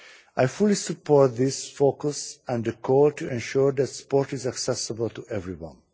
I fully support this focus and the call to ensure the sport is accessible to everyone.